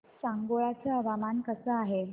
सांगोळा चं हवामान कसं आहे